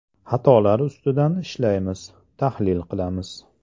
Xatolar ustida ishlaymiz, tahlil qilamiz.